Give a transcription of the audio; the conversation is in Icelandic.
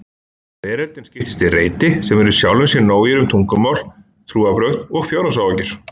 Veröldin skiptist í reiti sem eru sjálfum sér nógir um tungumál, trúarbrögð og fjárhagsáhyggjur.